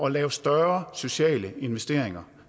at lave større sociale investeringer